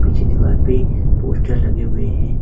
पीछे दीवार पे पोस्टर लगे हुए हैं।